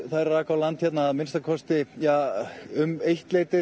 þær rak á land að minnsta kosti um eitt leytið